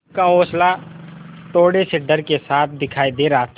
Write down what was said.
का हौंसला थोड़े से डर के साथ दिखाई दे रहा था